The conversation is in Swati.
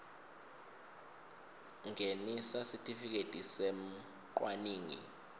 ngenisa sitifiketi semcwaningi